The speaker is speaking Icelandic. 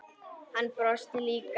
Hann brosti líka.